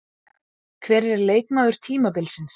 Hver er leikmaður tímabilsins?